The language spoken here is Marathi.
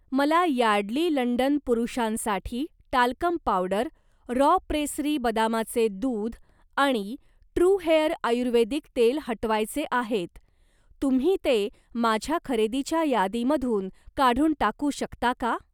मला यार्डली लंडन पुरुषांसाठी टाल्कम पावडर, रॉ प्रेसरी बदामाचे दूध आणि ट्रू हेअर आयुर्वेदिक तेल हटवायचे आहेत, तुम्ही ते माझ्या खरेदीच्या यादीमधून काढून टाकू शकता का?